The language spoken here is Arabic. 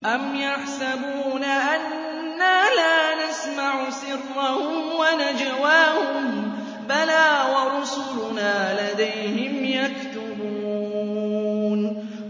أَمْ يَحْسَبُونَ أَنَّا لَا نَسْمَعُ سِرَّهُمْ وَنَجْوَاهُم ۚ بَلَىٰ وَرُسُلُنَا لَدَيْهِمْ يَكْتُبُونَ